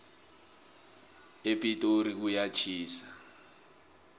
epitori kuyatjhisa